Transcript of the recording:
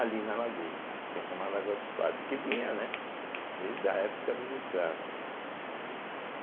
ali na lagoa, que é chamada Lagoa dos Padres, porque vinha, né desde a época dos escravos, né.